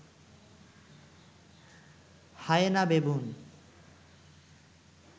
hyena, baboon